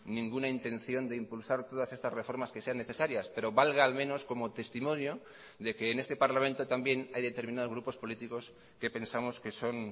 ninguna intención de impulsar todas estas reformas que sean necesarias pero valga al menos como testimonio de que en este parlamento también hay determinados grupos políticos que pensamos que son